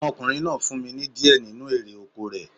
Ọmọkùnrin náà fún mi ní di ẹ nínu erè oko rẹ̀